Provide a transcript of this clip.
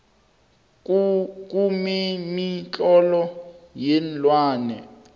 kumemitlolo yeenlwane